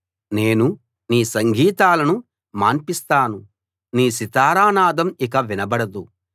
నేను నీ సంగీతాలను మాన్పిస్తాను నీ సితారా నాదం ఇక వినబడదు